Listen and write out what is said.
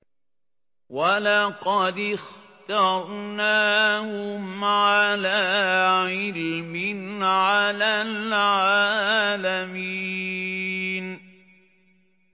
وَلَقَدِ اخْتَرْنَاهُمْ عَلَىٰ عِلْمٍ عَلَى الْعَالَمِينَ